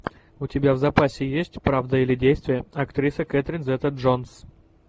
у тебя в запасе есть правда или действие актриса кэтрин зета джонс